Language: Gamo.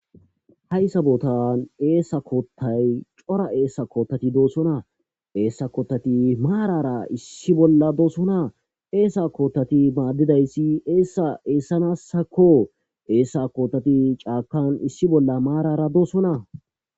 haysabootan eesa koottay cora eessa koottati doosona eessa koottati maarara issi bolla doosona eesa koottati maaddidayssi eessa eessanassakko eessa kootati caakan issi bolla maarara doosona